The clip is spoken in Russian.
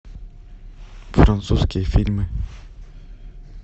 французские фильмы